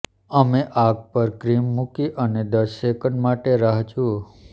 અમે આગ પર ક્રીમ મૂકી અને દસ સેકન્ડ માટે રાહ જુઓ